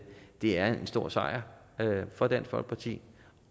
er en stor sejr for dansk folkeparti